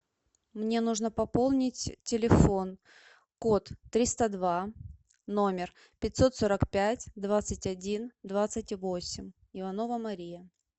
мне нужно пополнить телефон код триста два номер пятьсот сорок пять двадцать один двадцать восемь иванова мария